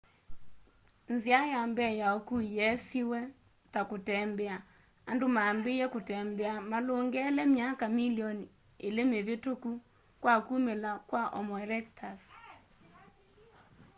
nzia ya mbee ya ukui yeesiwe ta kutembea andu mambiiie kutembea malungele myaka milioni ili mivituku kwa kumila kwa homo erectus